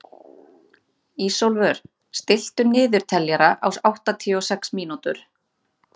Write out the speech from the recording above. Ísólfur, stilltu niðurteljara á áttatíu og sex mínútur.